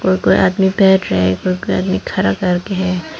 कोई कोई आदमी बैठ रहा है कोई कोई आदमी खड़ा करके है।